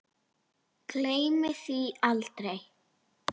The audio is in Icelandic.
Gleymir því aldrei.